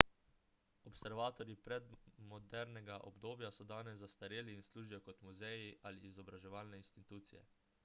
observatoriji iz predmodernega obdobja so danes zastareli in služijo kot muzeji ali izobraževalne institucije